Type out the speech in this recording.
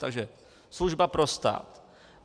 Takže služba pro stát.